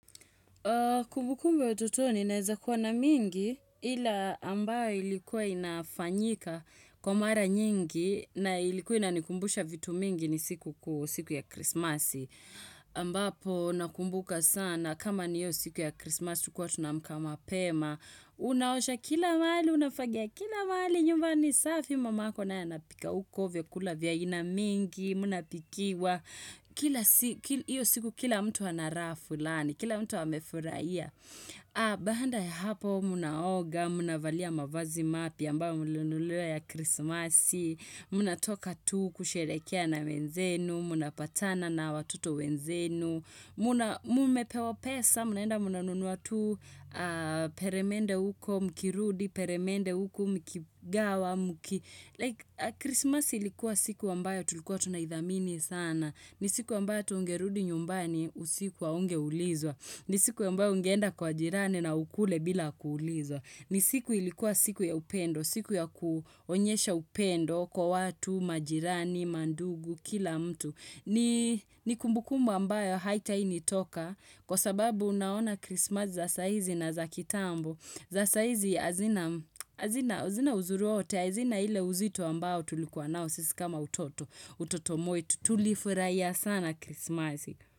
Kumbukumbu ya ututoni naeza kuwa na mingi ila ambayo ilikuwa inafanyika kwa mara nyingi na ilikuwa inanikumbusha vitu mingi ni siku ya krismasi. Ambapo nakumbuka sana kama ni hio siku ya krismasi tulikuwa tunaamka mapema. Unaosha kila mahali, unafagia kila mahali, nyumba ni safi mamako na anapika uko vyakula vya aina mingi, mnapikiwa. Hio siku kila mtu anarahaa fulani, kila mtu amefurahia Bahanda ya hapa mnaoga, mnavalia mavazi mapya ambayo mlinunuliwa ya krismasi Mnatoka tu kusherehekea na wenzenu, mnapatana na watoto wenzenu Mmepewa pesa, mnaenda mnanunua tu Peremende uko mkirudi, peremende uko mkigawa Krismasi ilikuwa siku ambayo tulikuwa tunaidhamini sana ni siku ambayo tuungerudi nyumbani usiku haunge ulizwa. Ni siku ambao ungeenda kwa jirani na ukule bila kuulizwa. Ni siku ilikuwa siku ya upendo, siku ya kuonyesha upendo kwa watu, majirani, mandugu, kila mtu. Ni kumbukumbu ambayo haitai nitoka kwa sababu naona Christmas za saizi na za kitambo. Za saa hizi hazina uzuri wowote, hazina ile uzito ambao tulikuwa nao sisi kama utoto mwetu, tutulifurahia sana kismazi.